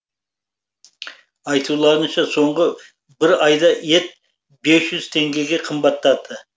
айтуларынша соңғы бір айда ет бес жүз теңгеге қымбаттады